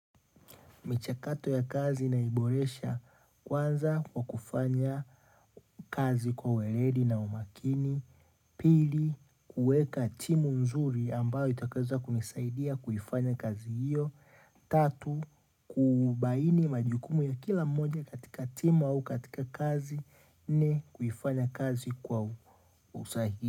Michakato ya kazi na iboresha kwanza kwa kufanya kazi kwa ueledi na umakini. Pili, kuweka timu nzuri ambayo itakayoweza kunisaidia kuifanya kazi hiyo. Tatu, kubaini majukumu ya kila mmoja katika timu au katika kazi nne kufanya kazi kwa usahihi.